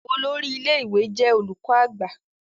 olórí ilé ìwé jé olùkó àgbà.